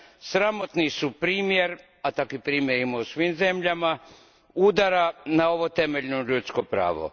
sramotan su primjer, a takvih primjera ima u svim zemljama, udara na ovo temeljno ljudsko pravo.